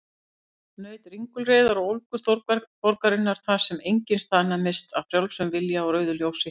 Naut ringulreiðar og ólgu stórborgarinnar, þar sem enginn staðnæmist af frjálsum vilja á rauðu ljósi.